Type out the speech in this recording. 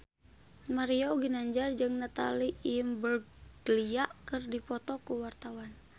Mario Ginanjar jeung Natalie Imbruglia keur dipoto ku wartawan